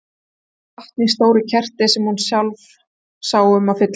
Þar var vatn í stóru keri sem hún sá sjálf um að fylla.